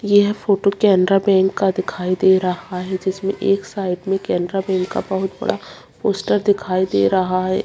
यह photo Canara bank का दिखाई दे रहा है जिसमें एक साइड में केनरा बैंक का बहुत बड़ा पोस्टर दिखाई दे रहा है।